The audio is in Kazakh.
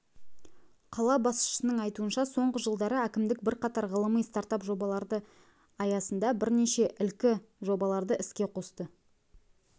қала басшысының айтуынша соңғы жылдары әкімдік бірқатар ғылыми стартап жобаларды аясындағы бірнеше ілкі жобаларды іске қосты